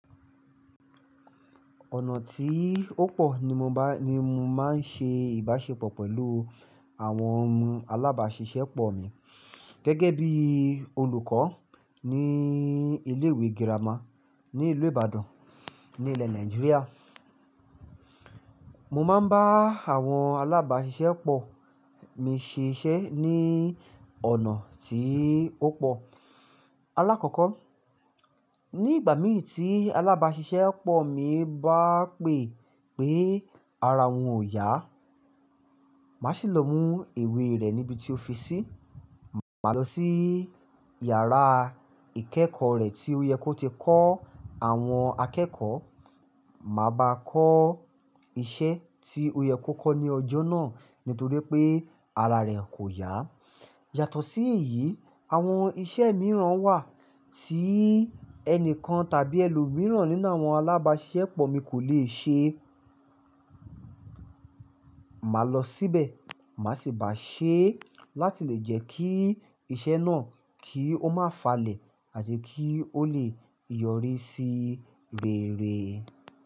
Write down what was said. Ọ̀nà tí ó pọ̀ ni mo bá ni mo máa ń ṣe ìbáṣepọ̀ pẹ̀lú àwọn alábasisẹ́pọ̀ mi gẹ́gẹ́ bí olùkọ́ ní ilé ìwé girama ní ìlú Ìbàdàn, ní ilẹ̀ Nàìjíríà. Mo máa ń bá àwọn alábasisẹ́pọ̀ mi ṣiṣẹ́ ní ọ̀nà tí ó pọ̀. Alákọ̀ọ́kọ́, nígbà mìí tí alábasisẹ́pọ̀ mi bá pè pé ara òun ò yá, màá sì lọ mú ìwé rẹ̀ níbi tí ó fi sí. Màá lọ sí iyàrá ìkẹ́kọ̀ọ́ rẹ̀ tí ó yẹ kó ti kọ́ àwọn akẹ́kọ̀ọ́, màá bá a kọ́ iṣẹ́ tí ó yẹ kó kọ́ ní ọjọ́ náà nítorí pé ara rẹ̀ kò yá. Yàtọ̀ sí èyí, àwọn iṣẹ́ mìíràn wà tí ẹni kan tàbí ẹlòmíràn nínú àwọn alábasisẹ́pọ̀ mi kò le ṣe. Màá lọ síbẹ̀, màá sì bá a ṣe é láti lè jẹ́ kí iṣẹ́ náà kí ó má falẹ̀ àti kí ó le yọrí sí rere.